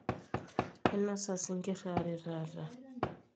ainosa isingir aare taata